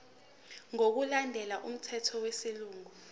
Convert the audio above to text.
ngokulandela umthetho wesilungu